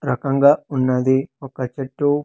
రకంగా ఉన్నది ఒక చెట్టు.